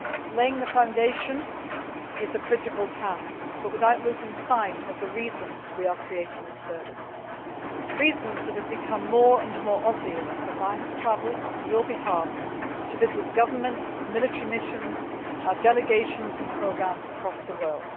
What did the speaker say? Laying the foundation is a critical task, but without losing sight of the reasons why we are creating this service, reasons that have become more and more obvious as I have travelled, on your behalf, to visit governments, military missions, and our delegations and programmes across the world.